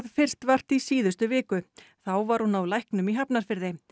fyrst vart í síðustu viku þá var hún á læknum í Hafnarfirði